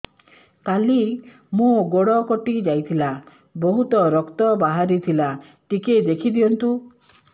କାଲି ମୋ ଗୋଡ଼ କଟି ଯାଇଥିଲା ବହୁତ ରକ୍ତ ବାହାରି ଥିଲା ଟିକେ ଦେଖି ଦିଅନ୍ତୁ